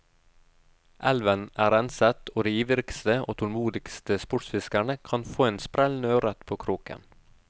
Elven er renset, og de ivrigste, og tålmodigste sportsfiskere kan få en sprellende ørret på kroken.